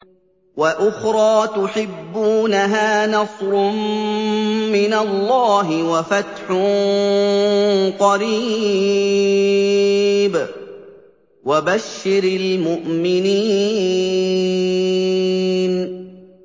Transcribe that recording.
وَأُخْرَىٰ تُحِبُّونَهَا ۖ نَصْرٌ مِّنَ اللَّهِ وَفَتْحٌ قَرِيبٌ ۗ وَبَشِّرِ الْمُؤْمِنِينَ